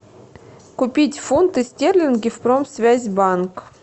купить фунты стерлинги в промсвязьбанк